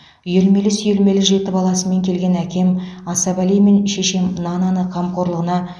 үйелмелі сүйелмелі жеті баласымен келген әкем асабали мен шешем нананы қамқорлығына